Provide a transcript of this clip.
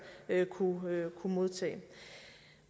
kunne modtage